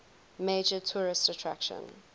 major tourist attraction